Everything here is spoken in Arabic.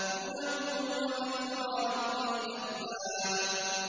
هُدًى وَذِكْرَىٰ لِأُولِي الْأَلْبَابِ